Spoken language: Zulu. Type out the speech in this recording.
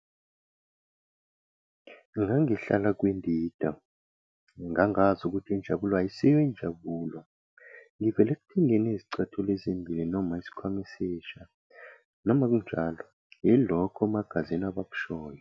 Ngangihlala kwindida- ngangazi ukuthi injabulo ayisiyo injabulo 'ngivela ekuthengeni izicathulo ezimbili noma isikhwama esisha, noma kunjalo yilokho omagazini abakushoyo.